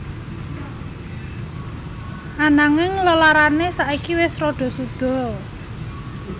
Ananging lelarane saiki wis rada suda